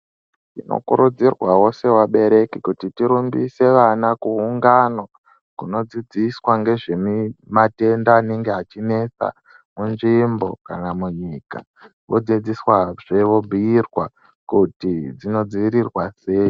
Tinokurudzirwawo sevabereki kuti tirumbise vana kuungano, kunodzidziswa ngezvemi matenda anenge achinetsa munzvimbo kana munyika, wodzidziswazve, wobhuirwa kuti dzinodziirirwa sei.